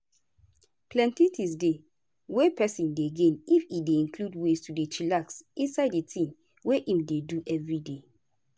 plenty things dey wey peson dey gain if e dey include ways to dey chillax inside di things wey im dey do everyday.